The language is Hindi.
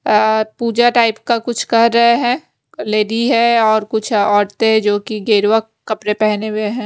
अ पूजा टाइप का कुछ कर रहे हैं लेडी है और कुछ औरतें जो कि गेरवा कपड़े पहने हुए हैं।